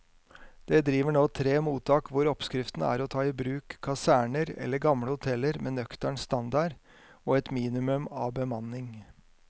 Det driver nå tre mottak hvor oppskriften er å ta i bruk kaserner eller gamle hoteller med nøktern standard og et minimum av bemanning.